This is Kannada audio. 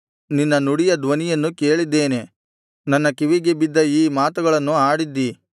ನಿನ್ನ ನುಡಿಯ ಧ್ವನಿಯನ್ನು ಕೇಳಿದ್ದೇನೆ ನನ್ನ ಕಿವಿಗೆ ಬಿದ್ದ ಈ ಮಾತುಗಳನ್ನು ಆಡಿದ್ದಿ